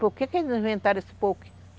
Por que que eles inventaram esse pou